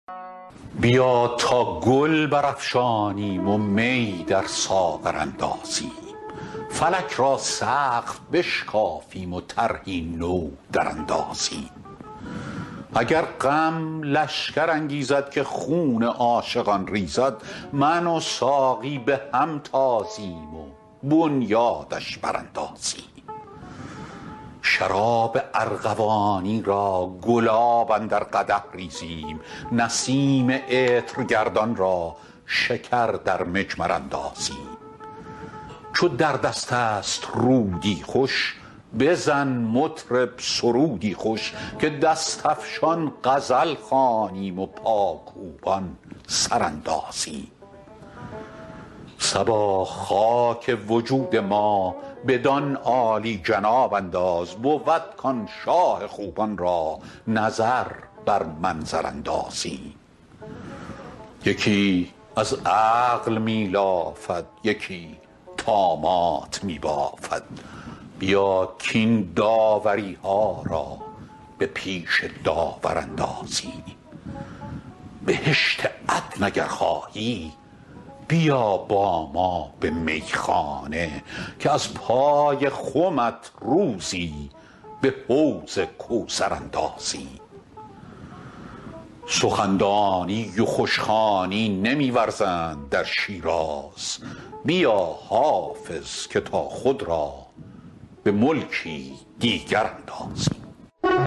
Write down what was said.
بیا تا گل برافشانیم و می در ساغر اندازیم فلک را سقف بشکافیم و طرحی نو دراندازیم اگر غم لشکر انگیزد که خون عاشقان ریزد من و ساقی به هم تازیم و بنیادش براندازیم شراب ارغوانی را گلاب اندر قدح ریزیم نسیم عطرگردان را شکر در مجمر اندازیم چو در دست است رودی خوش بزن مطرب سرودی خوش که دست افشان غزل خوانیم و پاکوبان سر اندازیم صبا خاک وجود ما بدان عالی جناب انداز بود کآن شاه خوبان را نظر بر منظر اندازیم یکی از عقل می لافد یکی طامات می بافد بیا کاین داوری ها را به پیش داور اندازیم بهشت عدن اگر خواهی بیا با ما به میخانه که از پای خمت روزی به حوض کوثر اندازیم سخن دانی و خوش خوانی نمی ورزند در شیراز بیا حافظ که تا خود را به ملکی دیگر اندازیم